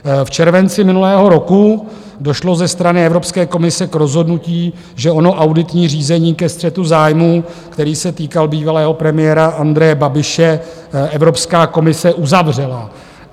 V červenci minulého roku došlo ze strany Evropské komise k rozhodnutí, že ono auditní řízení ke střetu zájmů, který se týkal bývalého premiéra Andreje Babiše, Evropská komise uzavřela.